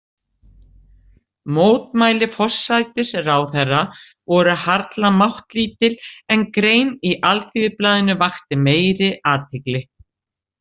Mótmæli forsætisráðherra voru harla máttlítil, en grein í Alþýðublaðinu vakti meiri athygli.